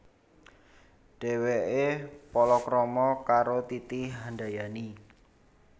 Dhèwèké palakrama karo Titi Handayani